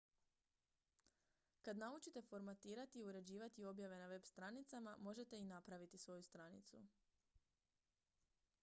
kad naučite formatirati i uređivati objave na web-stranicama možete i napraviti svoju stranicu